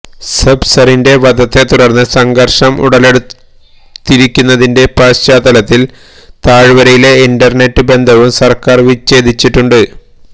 സബ്സറിന്റെ വധത്തെ തുടര്ന്ന് സംഘര്ഷം ഉടലെടുത്തിരിക്കുന്നതിന്റെ പശ്ചാത്തലത്തില് താഴ് വരയിലെ ഇന്റര്നെറ്റ് ബന്ധവും സര്ക്കാര് വിച്ഛേദിച്ചിട്ടുണ്ട്